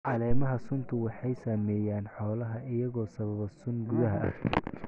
Caleemaha suntu waxay saameeyaan xoolaha iyagoo sababa sun gudaha ah.